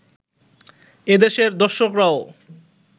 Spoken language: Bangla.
এদেশের দর্শকরাও